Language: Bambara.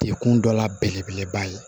Dekun dɔ la belebeleba ye